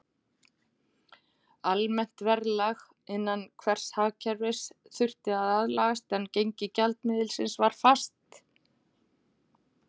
Almennt verðlag innan hvers hagkerfis þurfti að aðlagast, en gengi gjaldmiðilsins var fast.